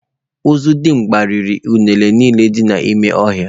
Ozodimgba riri unere niile dị n’ime ọhịa